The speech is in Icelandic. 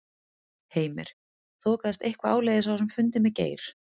Heimir: Þokaðist eitthvað áleiðis á þessum fundi með Geir?